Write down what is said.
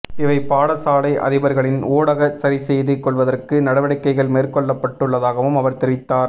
இவை பாடசாலை அதிபர்களின் ஊடாக சரி செய்து கொள்வதற்கு நடவடிக்கைகள் மேற்கொள்ளப்பட்டுள்ளதாகவும் அவர் தெரிவித்தார்